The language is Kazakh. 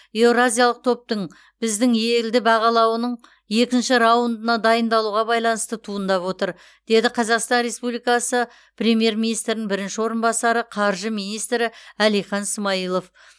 еуразиялық топтың біздің елді бағалауының екінші раундына дайындалуға байланысты туындап отыр деді қазақстан республикасы премьер министрінің бірінші орынбасары қаржы министрі әлихан смайылов